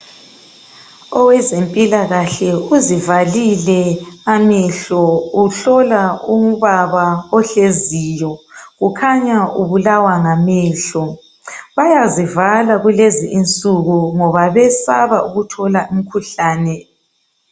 Owezempilakahle uzivalile amehlo, uhlola ubaba ohleziyo, ukhanya ubulawa ngamehlo, bayazivala kulezi insuku ngoba besaba ukuthola imikhuhlane.